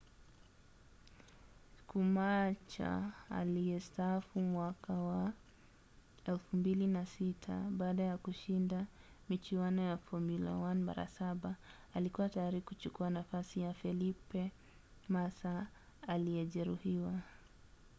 schumacher aliyestaafu mwaka wa 2006 baada ya kushinda michuano ya formula 1 mara saba alikua tayari kuchukua nafasi ya felipe massa aliyejeruhiwa